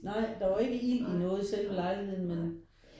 Nej der var ikke ild i noget af selve lejligheden men